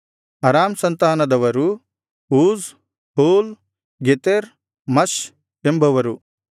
ಅರಾಮ್ ಸಂತಾನದವರು Uz Hul Gether Mash ಎಂಬವರು